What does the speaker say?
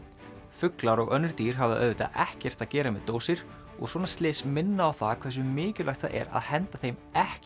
fuglar og önnur dýr hafa auðvitað ekkert að gera með dósir og svona slys minna á það hversu mikilvægt það er að henda þeim ekki